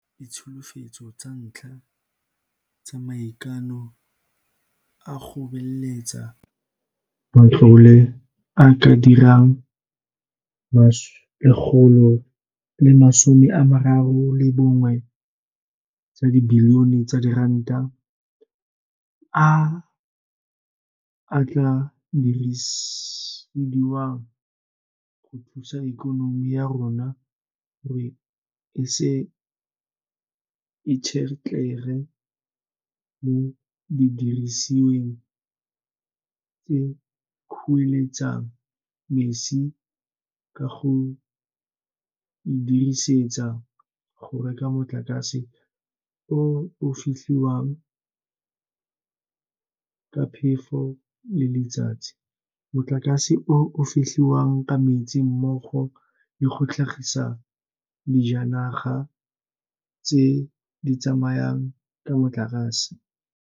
e iponetse ditsholofetso tsa ntlha tsa maikano a go beeletsa matlole a a ka dirang R131 bilione a a tla dirisediwang go thusa ikonomi ya rona gore e se itshetlege mo didirisiweng tse di kueletsang mesi ka go e dirisetsa go reka motlakase o o fetlhiwang ka phefo le letsatsi, motlakase o o fetlhiwang ka metsi mmogo le go tlhagisa dijanaga tse di tsamayang ka motlakase.